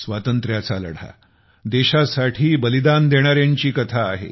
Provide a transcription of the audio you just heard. स्वातंत्र्याचा लढा देशासाठी बलिदान देणाऱ्यांची कथा आहे